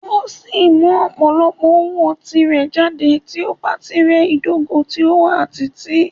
O si mu opolopo owo ti rẹ jade ti o ba ti rẹ idogo ti o wa titi.